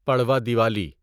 Padwa Diwali